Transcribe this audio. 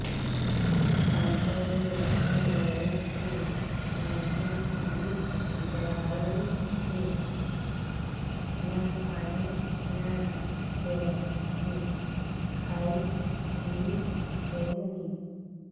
ଦାନ୍ତ ରୁ ରକ୍ତ ଗଳୁଛି ମାଢି ଫୁଲି ଯାଉଛି ନା ପାଣି ନା ଖାଦ୍ୟ କିଛି ଖାଇ ପିଇ ହେଉନି